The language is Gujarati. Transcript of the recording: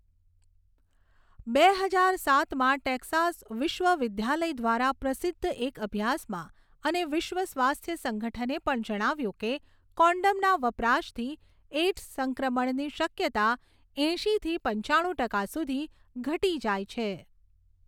બે હજાર સાતમાં ટેક્સાસ વિશ્વવિદ્યાલય દ્વારા પ્રસિદ્ધ એક અભ્યાસમાં અને વિશ્વ સ્વાસ્થ્ય સંગઠને પણ જણાવ્યુંં કે કોન્ડોમના વપરાશથી એઈડ્સ સંક્રમણની શક્યતા એંશીથી પંચાણું ટકા સુધી ઘટી જાય છે.